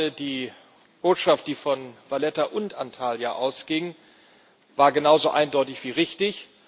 Ich meine, die Botschaft, die von Valetta und Antalya ausging, war genauso eindeutig wie richtig.